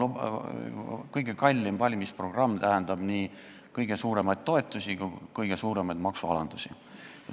Kõige kallim valimisprogramm tähendab nii kõige suuremaid toetusi kui ka kõige suuremaid maksualandusi.